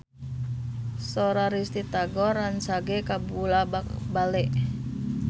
Sora Risty Tagor rancage kabula-bale